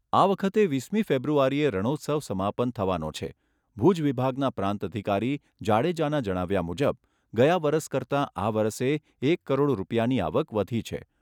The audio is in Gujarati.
આ વખતે વીસમી ફેબ્રુઆરીએ રણોત્સવ સમાપન થવાનો છે, ભુજ વિભાગના પ્રાંત અધિકારી જાડેજાના જણાવ્યા મુજબ ગયા વરસ કરતાં આ વરસે એક કરોડ રૂપિયાની આવક વધી છે.